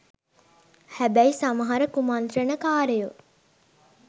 හැබැයි සමහර කුමන්ත්‍රණ කාරයෝ